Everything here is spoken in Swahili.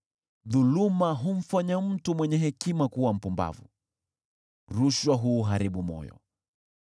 Dhuluma humfanya mtu mwenye hekima kuwa mpumbavu, nayo rushwa huuharibu moyo.